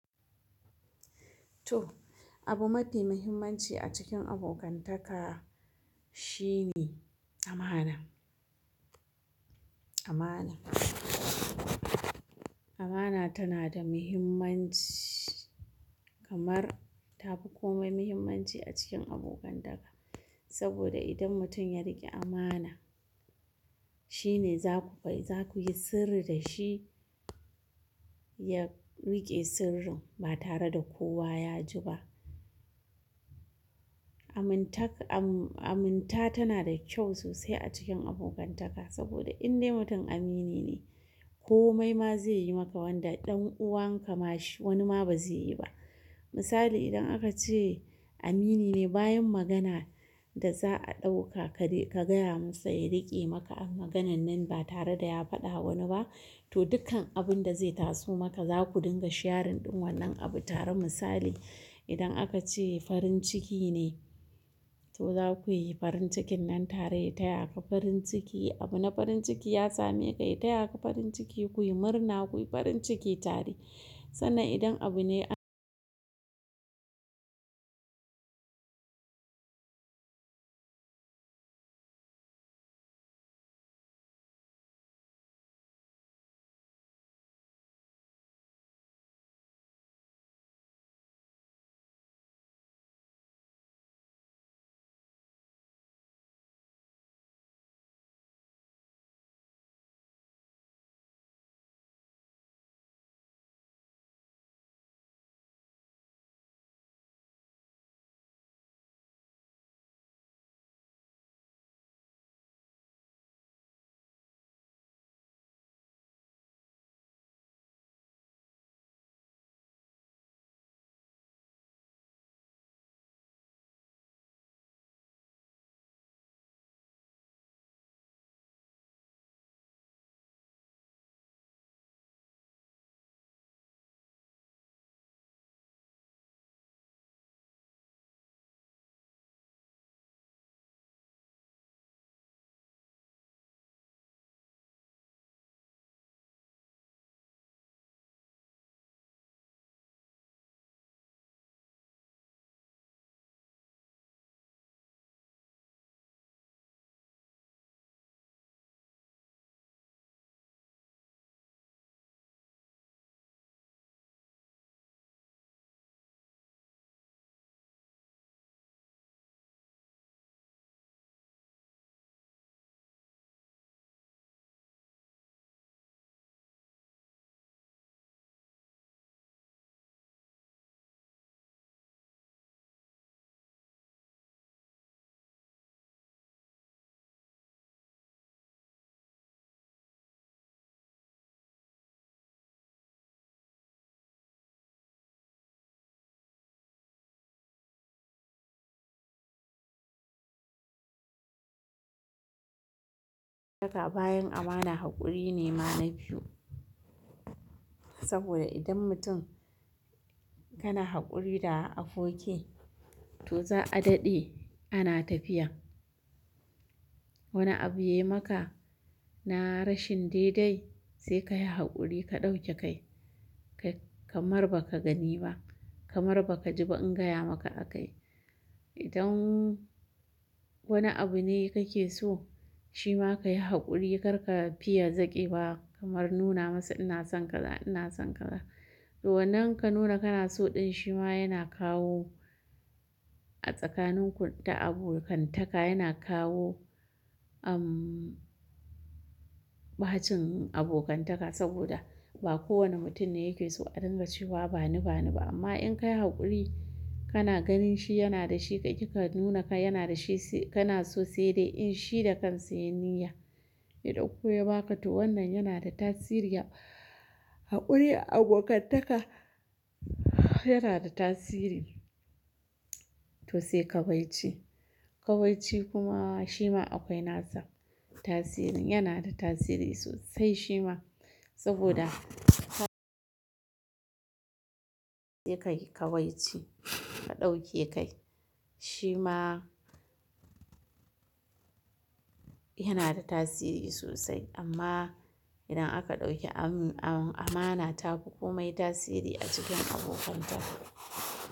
To, abu mafi muhimmanci a cikin abokantaka shine amana. Amana tana da muhimmanci kamar ta fi komai muhimmanci a cikin abokantaka. Saboda idan mutum ya riƙe amana, shine za ku kai, za ku yi sirri da shi ya riƙe sirrin ba tare da kowa ya ji ba. Aminta tana da kyau sosai a cikin abokantaka saboda in dai mutum amini ne, komai ma zai yi maka wanda ɗan uwan ka ma shi wani ma ba zai yi ba. Misali idan aka ce amini ne bayan magana da za a ɗauka ka gaya masa ya riƙe maka maganan nan ba tare da ya faɗa wa wani ba, to dukkan abun da zai taso maka za ku dinga sharing ɗin wannan abu tare misali idan aka ce farin ciki ne, to za ku yi farin cikin nan tare ya taya ka farin ciki, abin na farin ciki ya same ka, ya taya ka farin ciki, ku yi murna, ku yi farin ciki tare. Sannan idan abu ne- bayan amana haƙuri ne ma na biyu. Saboda idan mutum kana haƙuri da aboki, to za a daɗe ana tafiya. Wani abu yayi maka na rashin daidai se kayi hakuri ka dauke kai kayi kamar baka gani ba kamar baka jiba in gaya maka akayi idan wani abu ne kake so, shi ma ka yi haƙuri, kar ka fiya zaƙewa kamar nuna masa ina son kaza ina son kaza to wannan ka nuna kana so ɗin shi ma yana kawo a tsakanin ku ta abokantaka yana kawo, bahacin abokantaka saboda ba kowane mutum ne yake so a dinga cewa bani, bani ba. Amma in ka yi haƙuri kana ganin shi yana da shi ka ƙi ka nuna ka yana da shi kana so sai dai in shi da kansa ya yi niyya ya ɗauko ya ba ka, to wannan yana da tasiri haƙuri a abokantaka yana da tasiri. To sai kawai ci. Kawai ci kuma shi ma akwai nasa tasirin, yana da tasiri sosai shi ma saboda- sai ka yi kawai ci ka ɗauke kai. Shima yanada tasiri sosai amma idan aka ɗauki amana tafi komai tasiri a cikin abokantaka.